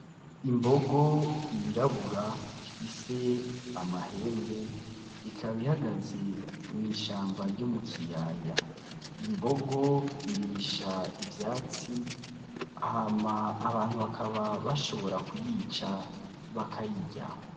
Imbogo yirabura ifise amahenbe, ikaba ihagaze mw'ishamba ryo mu kiyaya. Iyo mbogo irisha ivyatsi hama abantu bakaba bashobora kuyica, bakayirya.